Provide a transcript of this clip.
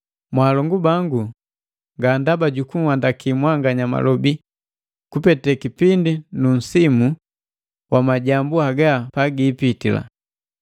Mwalongu bangu nga ndaba jukunhandaki mwanganya malobi kupete kipindi nu nsimu wa majambu haga pagiipitila.